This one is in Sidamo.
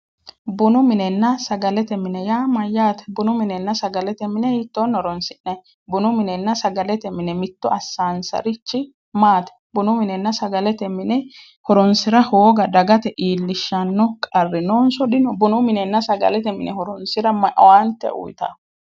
Bunu minenna sagalete mine yaa Mayyaate? bunu minenna sagalete mine hiittooni horonisi'nayi? Bunu minenna sagalete mine mitto assaanisarichi maati? bunu minenna sagalete mine horonisira hoogate iilishanno qarri nooniso dino? bunu minenna sagalete mine horonisira ma owaanite uyitawo?